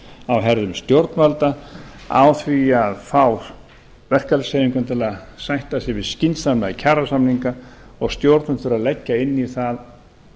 á herðum stjórnvalda á því að fá verkalýðshreyfinguna til að sætta sig við skynsamlega kjarasamninga og stjórnvöld þurfa að leggja inn í það